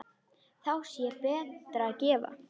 Þá sé betra að gefa.